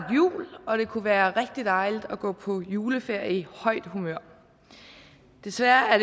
jul og det kunne være rigtig dejligt at gå på juleferie i højt humør desværre er